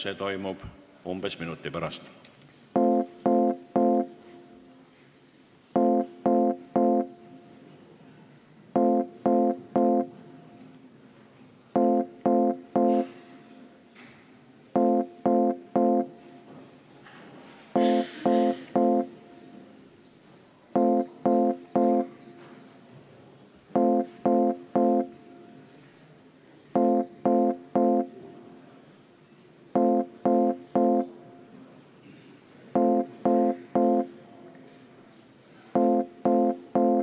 See toimub umbes minuti pärast.